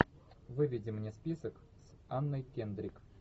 выведи мне список с анной кендрик